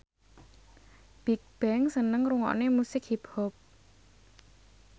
Bigbang seneng ngrungokne musik hip hop